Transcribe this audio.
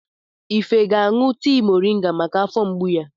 Ife ga-aṅụ tii mọrịnga maka afọ mgbu ya.